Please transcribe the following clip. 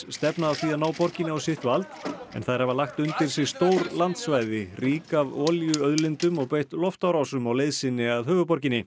stefna að því að ná borginni á sitt vald en þær hafa lagt undir sig stór landsvæði rík af olíuauðlindum og beitt loftárásum á leið sinni að höfuðborginni